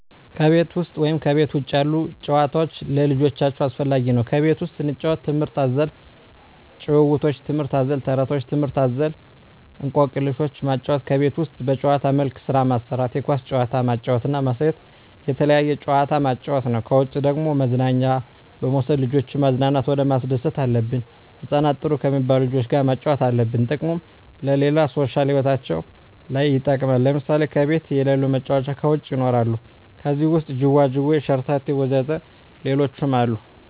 ከቤት ውሰጥ ወይም ከቤት ውጭ ያሉ ጭዋታዎች ለልጆቻቸው አስፈላጊ ነው ከቤት ውስጥ ስንጫወት ትምህርት አዘል ጫውውቶች ትምህርት አዘል ተረቶች ትምህርት አዘል እኮክልሾችን ማጫወት ከቤት ውስጥ በጭዋታ መልክ ስራ ማሰራት የኳስ ጭዋታ ማጫወት እና ማሳየት የተለያየ ጭዋታ ማጫወት ነው ከውጭ ደግሞ መዝናኛ በመውሰድ ልጆችን ማዝናናት ሆነ ማስደሰት አለብን ህጻናትን ጥሩ ከሜባሉ ልጆች ጋር ማጫወት አለብን ጥቅሙም ለሌላ ሦሻል ህይወታቸው ለይ ይጠቅማል ለምሳሌ ከቤት የለሉ መጫወቻ ከውጭ ይኖራሉ ከዜህ ውሰጥ ጅዋጅዌ ሸረተቴ ወዘተ ሌሎችም አሉ